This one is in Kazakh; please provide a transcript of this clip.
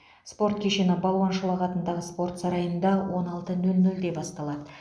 спорт кеші балуан шолақ атындағы спорт сарайында он алты нөл нөлде басталады